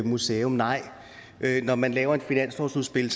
museum nej når man laver et finanslovsudspil